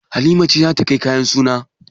Halima ce za ta kai kayan suna.